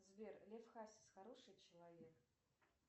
сбер лев хасис хороший человек